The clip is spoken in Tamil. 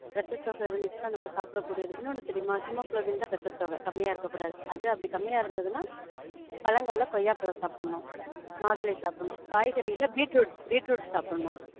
இரத்தசோக இருந்திச்சினா நாம சாப்பிடக்கூடியது, இன்னொன்னு தெரியுமா? ஹீமோகுளோபின் தான் இரத்தசோக. கம்மியா இருக்கக்கூடாது. அப்படி கம்மியா இருந்துதுனா பழங்கள்ல கொய்யா பழம் சாப்பிடனும். மாதுளை சாப்பிடனும். காய்கறில பீட்ரூட், பீட்ரூட் சாப்பிடனும்